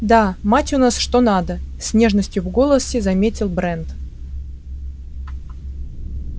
да мать у нас что надо с нежностью в голосе заметил брент